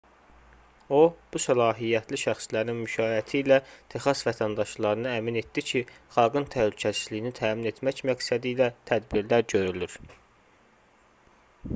o bu səlahiyyətli şəxslərin müşayiəti ilə texas vətəndaşlarını əmin etdi ki xalqın təhlükəsizliyini təmin etmək məqsədilə tədbirlər görülür